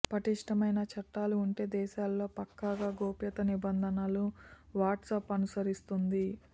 పటిష్ఠమైన చట్టాలు ఉండే దేశాల్లో పక్కాగా గోప్యతా నిబంధనలను వాట్సాప్ అనుసరిస్తోంది